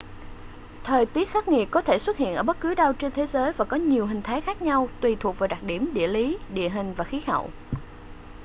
thời tiết khắc nghiệt có thể xuất hiện ở bất cứ đâu trên thế giới và có nhiều hình thái khác nhau tùy thuộc vào đặc điểm địa lý địa hình và khí hậu